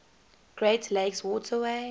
great lakes waterway